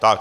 Tak.